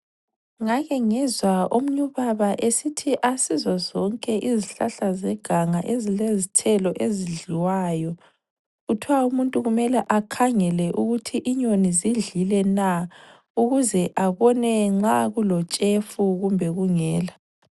Ngake ngezwa omunye ubaba esithi asizo zonke izihlahla zeganga ezilezithelo ezidliwayo. Kuthwa umuntu kumele akhangele ukuthi inyoni zidlile na, ukuze abone nxa kulotshefu kumbe kungela.